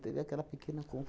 Teve aquela pequena